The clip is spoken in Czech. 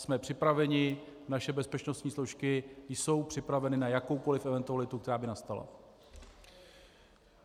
Jsme připraveni, naše bezpečnostní složky jsou připraveny na jakoukoli eventualitu, která by nastala.